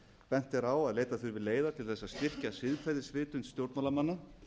bent er á að þau muni leiða til þess að styrkja siðferðisvitund stjórnmálamanna